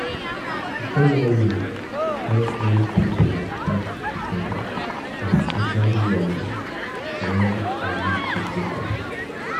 Journaling help um me put my thoughts together, especially when I need to focus.